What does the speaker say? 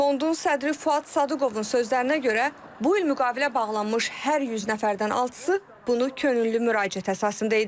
Fondun sədri Fuad Sadıqovun sözlərinə görə bu il müqavilə bağlanmış hər 100 nəfərdən altısı bunu könüllü müraciət əsasında edib.